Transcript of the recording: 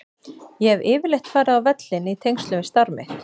Ég hef yfirleitt farið á völlinn í tengslum við starf mitt.